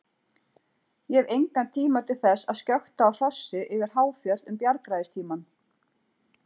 Ég hef engan tíma til þess að skjökta á hrossi yfir háfjöll um bjargræðistímann.